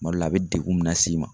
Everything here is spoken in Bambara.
Kuma dɔw la a be degun min las'i ma